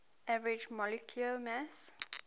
average molecular mass